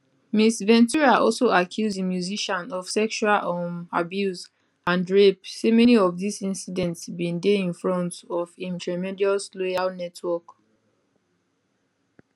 ms ventura also accuse di musician of sexual um abuse and rape say many of dis incidents bin dey in fromt of im tremendous loyal network